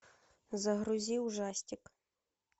загрузи ужастик